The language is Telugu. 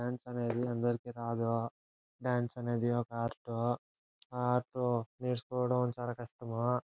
డాన్స్ అనేది అందరికీ రాదు. డాన్స్ అనేది ఒక ఆర్ట్ . ఆ ఆర్ట్ నేర్చుకోవడం చాలా కష్టము.